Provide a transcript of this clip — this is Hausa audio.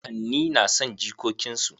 Kakanni na son jikokin su.